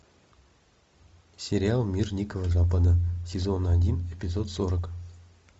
сериал мир дикого запада сезон один эпизод сорок